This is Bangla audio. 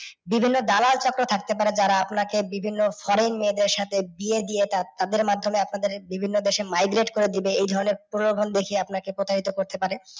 বিভিন্ন দালাল ছক্র থাকতে পারে যারা আপনাকে বিভিন্ন foreign মেয়েদের সাথে বিয়ে দিয়ে তাদের মাধ্যমে আপনাদের বিভিন্ন করে দিবে। এই ধরণের প্রলভন যদি আপনাকে প্রতারিত করতে পারে।